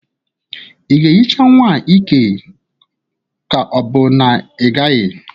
Ị ga-ehicha nwa a ike ka ọ bụ na-ịgaghị?